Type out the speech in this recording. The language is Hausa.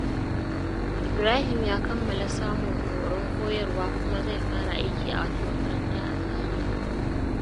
Ibrahim ya kammala samun horon koyarwa kuma zai fara aiki a wata makaranta a Zaria.